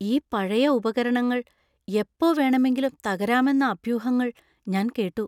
ഈ പഴയ ഉപകരണങ്ങൾ എപ്പോ വേണമെങ്കിലും തകരാമെന്ന അഭ്യൂഹങ്ങൾ ഞാൻ കേട്ടു.